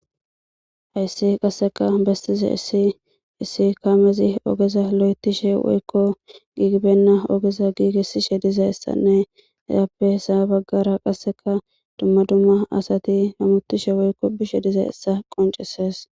Haysi qassika bessiza issi, issi kamezi ogeza loyttishe woykko gigibbenna ogeza gigishe de'iya isssanne, appe sa'a baggara qassika dumma dumma asati ottishe woykko besishe de'iya issa qonccisses.